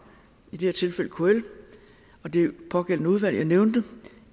i det her tilfælde kl og det pågældende udvalg jeg nævnte